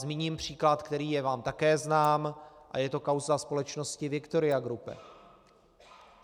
Zmíním příklad, který je vám také znám, a je to kauza společnosti Victoria Group.